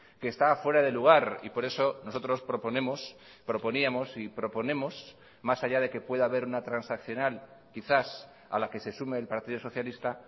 que está fuera de lugar y por eso nosotros proponemos proponíamos y proponemos más allá de que pueda haber una transaccional quizás a la que se sume el partido socialista